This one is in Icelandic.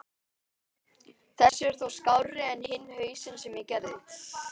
Þessi er þó skárri en hinn hausinn sem ég gerði.